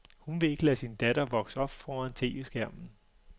Hun vil ikke lade sin datter vokse op foran tv-skærmen.